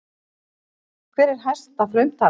Hver er hæsta frumtalan?